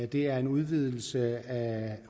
det er en udvidelse af